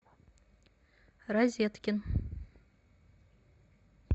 розеткин